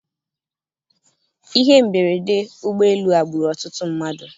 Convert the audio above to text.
Ihe mberede ụgbọelu a gburu ọtụtụ mmadụ.